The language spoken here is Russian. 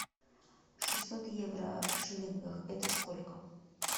шестьсот евро в шиллингах это сколько